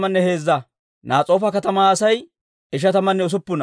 Beeteelenne Aata katamatuwaa Asay 223.